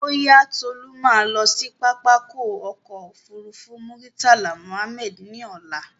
Bóyá, Tolú ma lọ sí pápákọ̀ ọ̀kọ òfurufú Murtala Mohammed ní ọ̀la